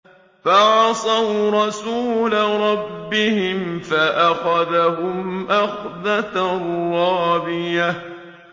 فَعَصَوْا رَسُولَ رَبِّهِمْ فَأَخَذَهُمْ أَخْذَةً رَّابِيَةً